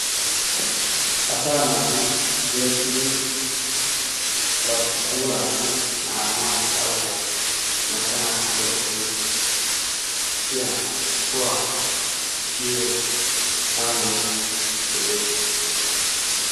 Asaa naati tiyettidi ba puulaassi naaganawu darotoo macca naati go"ettiyo kushiya tohuwa tiyiyo qalamee de"es.